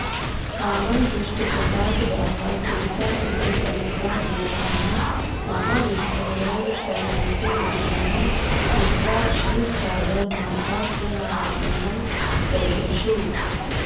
रावणदुष्टप्रतापदाहाकुलिता इन्द्रप्रमुखा गीर्वाणा महाविष्णुरेव शरणमिति निर्णयं कृत्वा क्षीरसागरमासाद्य नारायणं ददृशुः